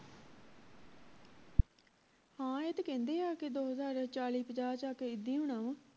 ਹਾਂ ਇਹ ਤੇ ਕਹਿੰਦੇ ਆ ਕਿ ਦੋ ਹਜਾਰ ਚਾਲੀ ਪੰਜਾਹ ਚ ਆਕੇ ਇੱਦਾਂ ਹੀ ਹੋਣਾ ਵਾ